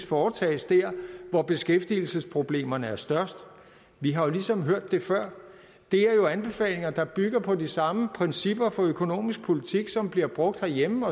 foretages dér hvor beskæftigelsesproblemerne er størst vi har ligesom hørt det før det er jo anbefalinger der bygger på de samme principper for økonomisk politik som bliver brugt herhjemme